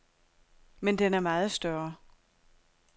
Men den er meget større.